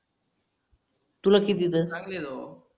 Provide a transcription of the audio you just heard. तुला किती त सांग न राव